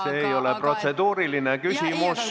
See ei ole protseduuriline küsimus.